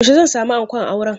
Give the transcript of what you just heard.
Yaushe zan sami ankon auren?